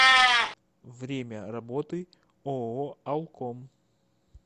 время работы ооо алком